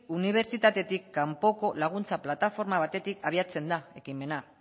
unibertsitatetik kanpoko laguntza plataforma batetik abiatzen da ekimena